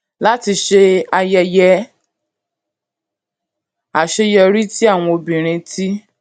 láti ṣe ayẹyẹ àwọn àṣeyọrí tí àwọn obìnrin ti